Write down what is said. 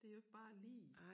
Det jo ikke bare lige